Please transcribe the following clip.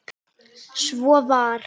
Svo var.